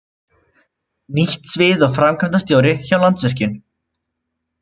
Nýtt svið og framkvæmdastjóri hjá Landsvirkjun